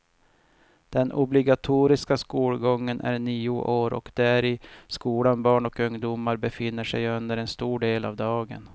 Den obligatoriska skolgången är nio år och det är i skolan barn och ungdomar befinner sig under en stor del av dagen.